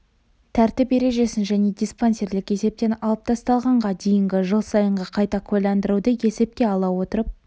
тәртіп ережесін және диспансерлік есептен алып тасталғанға дейінгі жыл сайынғы қайта куәландыруды есепке ала отырып